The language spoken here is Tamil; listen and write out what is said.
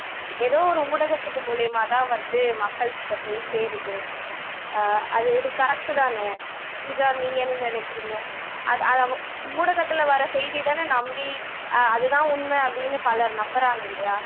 எதோ ஒரு ஊடகத்துக்கு மூலமாதான் வந்து மக்கள் கிட்ட போய் சேருது அஹ் அது இது correct தான பூஜா நீங்க என்ன நினைக்கிறீங்க அ அ ஊடகத்துல வர்ற செய்திதான நம்பி அதுதான் உண்மைன்னு பலர் நம்புறாங்க இல்லையா